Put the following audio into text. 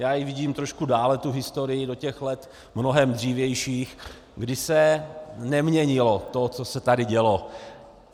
Já ji vidím trošku dále, tu historii, do těch let mnohem dřívějších, kdy se neměnilo to, co se tady dělo.